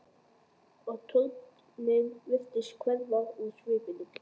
Og tortryggnin virtist hverfa úr svipnum.